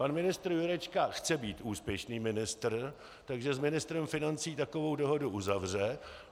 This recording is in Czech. Pan ministr Jurečka chce být úspěšný ministr, takže s ministrem financí takovou dohodu uzavře.